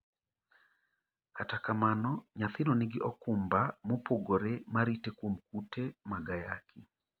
kata kamano, nyathino nigi okumba mopogore marite kuom kute mag ayaki